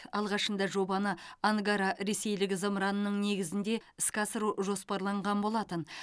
алғашында жобаны ангара ресейлік зымыранның негізінде іске асыру жоспарланған болатын